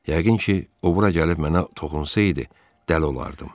Yəqin ki, o bura gəlib mənə toxunsaydı, dəli olardım.